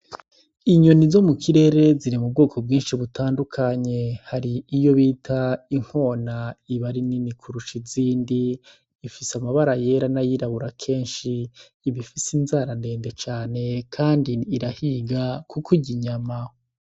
Inyoni zo mukirere ziri mubwoko bwinshi butandukanye. Hari iyo bita inkona iba ari nini kurusha izindi. Ifise amabara yera n'ayirabura kenshi. Iba ifise inzara ndende kandi irahiga kuko irya inyama.